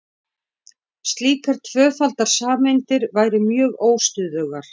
slíkar tvöfaldar sameindir væru mjög óstöðugar